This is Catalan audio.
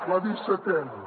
la dissetena